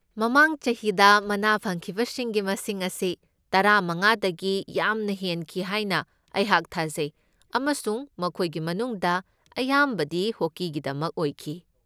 ꯃꯃꯥꯡ ꯆꯍꯤꯗ ꯃꯅꯥ ꯐꯪꯈꯤꯕꯁꯤꯡꯒꯤ ꯃꯁꯤꯡ ꯑꯁꯤ ꯇꯔꯥꯃꯉꯥꯗꯒꯤ ꯌꯥꯝꯅ ꯍꯦꯟꯈꯤ ꯍꯥꯏꯅ ꯑꯩꯍꯥꯛ ꯊꯥꯖꯩ ꯑꯃꯁꯨꯡ ꯃꯈꯣꯏꯒꯤ ꯃꯅꯨꯡꯗ ꯑꯌꯥꯝꯕꯗꯤ ꯍꯣꯀꯤꯒꯤꯗꯃꯛ ꯑꯣꯏꯈꯤ꯫